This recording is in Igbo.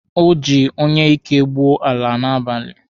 O ji onyeike gwuo ala n'abalị.